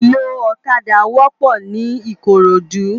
Iló ókàdá wòpò ni Ikorodu